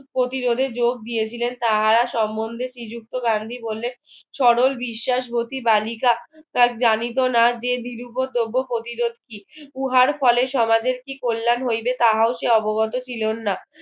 প্রতিরোধে যোগ দিয়েছিলেন তাহারা সমন্ধে শ্রীযুক্ত গান্ধী বললেন সরল বিশ্বাসবতী বালিকা তার জ্ঞানিত না যে নিরুপোদ্রব্য প্রতিরোধ কি উহার ফলে সমাজের কি কল্যাণ হইবে তাহাও সে অবগত ছিলেন না